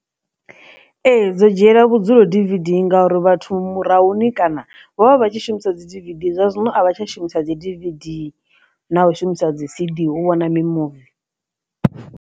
Ee, dzo dzhiela vhudzulo D_V_D ndi ngauri vhathu murahu ni kana vho vha vha tshi shumisa dzi D_V_D ndi zwa zwino a vha tsha shumisa dzi D_V_D na u shumisa dzi C_D u vhona mimuvi.